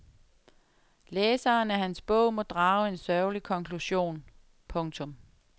Læseren af hans bog må drage en sørgelig konklusion. punktum